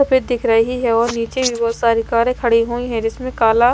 फिर दिख रही है और नीचे भी बहुत सारी कारें खड़ी हुई हैं जिसमें काला--